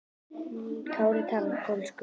Kári talar pólsku.